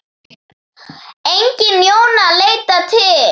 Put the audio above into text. Engin Jóna að leita til.